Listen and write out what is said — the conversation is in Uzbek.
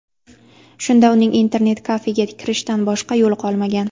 Shunda uning internet-kafega kirishdan boshqa yo‘li qolmagan.